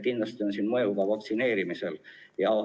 Kindlasti on siin mõju ka vaktsineerimisel.